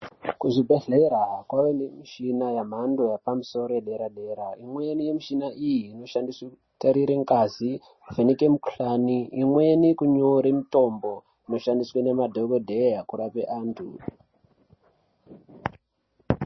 Kuzvibhadhlera kwave nemishina yemhando yepamusoro yedera-dera. Imweni yemishina iyi inoshandiswe kutarire ngazi, kuvheneka mukuhlani, imweni kunyore mitombo inoshandiswe ngemadhokodheya kurape vantu.